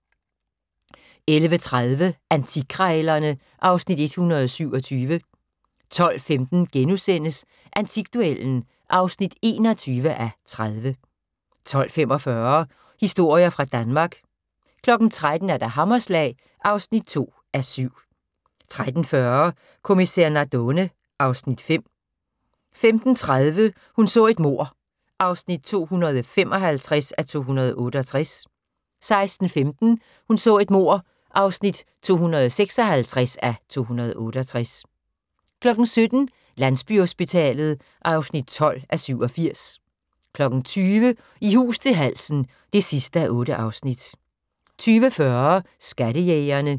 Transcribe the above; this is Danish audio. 11:30: Antikkrejlerne (Afs. 127) 12:15: Antikduellen (21:30)* 12:45: Historier fra Danmark 13:00: Hammerslag (2:7) 13:40: Kommissær Nardone (Afs. 5) 15:30: Hun så et mord (255:268) 16:15: Hun så et mord (256:268) 17:00: Landsbyhospitalet (12:87) 20:00: I hus til halsen (8:8) 20:40: Skattejægerne